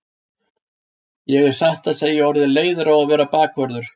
Ég er satt að segja orðinn leiður á að vera bakvörður.